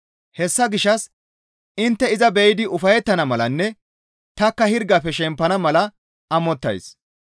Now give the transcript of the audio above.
Hessa gishshas intte iza be7idi ufayettana malanne tanikka hirgafe shempana mala amottays.